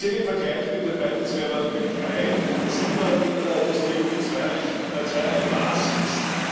Speziell im Vergleich mit dem Beitrittsbewerber Türkei sieht man, dass die EU mit zweierlei Maß misst.